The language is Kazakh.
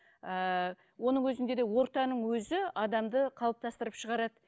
ыыы оның өзінде де ортаның өзі адамды қалыптастырып шығарады